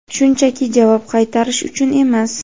shunchaki javob qaytarish uchun emas.